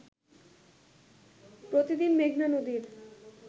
প্রতিদিন মেঘনা নদীর